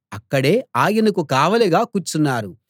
అక్కడే ఆయనకు కావలిగా కూర్చున్నారు